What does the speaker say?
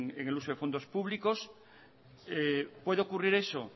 en el uso de fondos públicos puede ocurrir eso